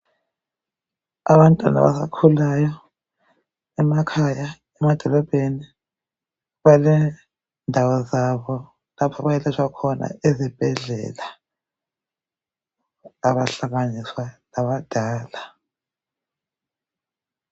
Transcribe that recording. Abantwana abasakhulayo emakhaya, emadolobheni balendawo zabo lapha abayelatshwa khona ezibhedlela abahlanganiswa labadala.